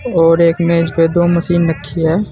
और एक मेज पे दो मशीन रखी है।